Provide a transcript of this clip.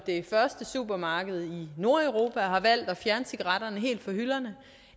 det første supermarked i nordeuropa har valgt at fjerne cigaretterne helt fra hylderne